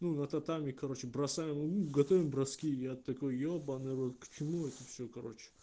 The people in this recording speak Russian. ну нататами короче бросаем ну готовим броски я такой ёбаный в рот к чему это всё короче